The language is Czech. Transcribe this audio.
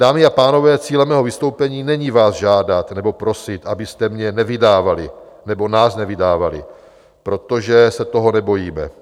Dámy a pánové, cílem mého vystoupení není vás žádat nebo prosit, abyste mě nevydávali, nebo nás nevydávali, protože se toho nebojíme.